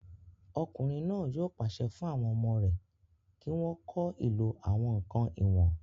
Ọkùnrin náà yóò pàṣẹ fún àwọn ọmọ rẹ̀ kí wọ́n kọ́ ìlò àwọn ǹkan ìwọ̀n